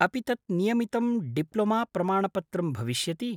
अपि तत् नियमितं डिप्लोमाप्रमाणपत्रं भविष्यति?